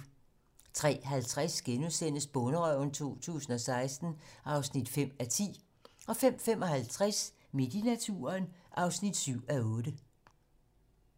03:50: Bonderøven 2016 (5:10)* 05:55: Midt i naturen (7:8)